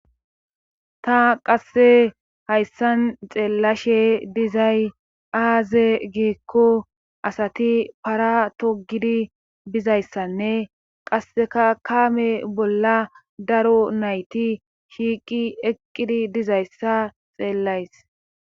Ta qasse hayssan xeellashshe dizay aaze giikko asati para togidi bizayssanne qasseka kaame bolla daro nayti shiiqi eqqidi dizayssa xeellays